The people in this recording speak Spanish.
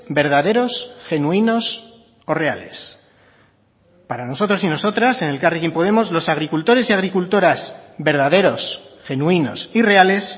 verdaderos genuinos o reales para nosotros y nosotras en elkarrekin podemos los agricultores y agricultoras verdaderos genuinos y reales